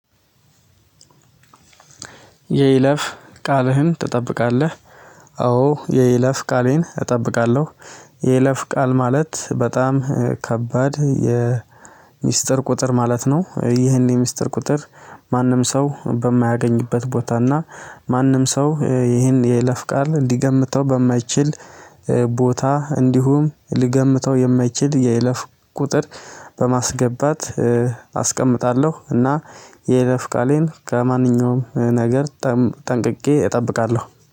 የይለፍ ቃልህን ትጠብቃለህ? አዎ የይለፍ ቃሌን እጠብቃለሁ። የይለፍ ቃል ማለት በጣም ከባድ የሚስጥር ቁጥር ማለት ነው። ይህን የሚስጥር ቁጥር ማንም ሰው በማያገኝበት ቦታ እና ማንም ሰው ይህን የይለፍ ቃል ሊገምተው በማይችል ቦታ እንዲሁም ሊገምተው የማይችል የይለፍ ቁጥር በማስገባት አስቀምጣለሁ እና የይለፍ ቃለን ከማንኛውም ነገር ጠንቅቀ እጠብቃለሁ